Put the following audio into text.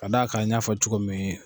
Ka d'a kan n y'a fɔ cogo min